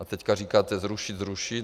A teď říkáte zrušit, zrušit.